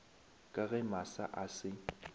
ka ge masa a se